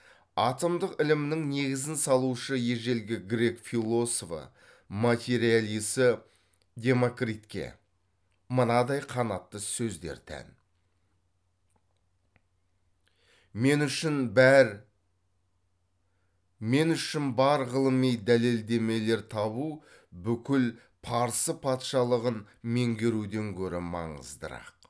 атомдық ілімнің негізін салушы ежелгі грек философы материалисі демокритке мынадай қанатты сөздер тән мен үшін бар ғылыми дәлелдемелер табу бүкіл парсы патшалағын меңгеруден гөрі маңыздырақ